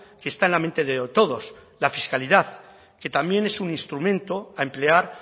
que está en la mente de todos la fiscalidad que también es un instrumento a emplear